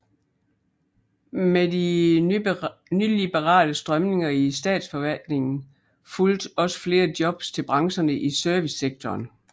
Med de nyliberale strømninger i statsforvaltningen fulgte også flere jobs til brancherne i servicesektoren